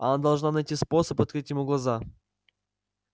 она должна найти способ открыть ему глаза